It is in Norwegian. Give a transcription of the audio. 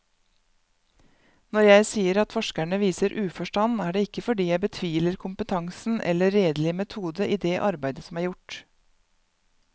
Når jeg sier at forskerne viser uforstand, er det ikke fordi jeg betviler kompetansen eller redelig metode i det arbeid som er gjort.